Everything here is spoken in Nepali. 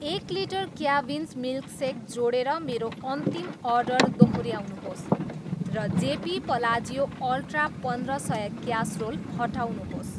एक लिटर क्याभिन्स मिल्कसेक जोडेर मेरो अन्तिम अर्डर दोहोऱ्याउनुहोस् र जेपी पलाजियो अल्ट्रा पन्द्र सय क्यासरोल हटाउनुहोस्।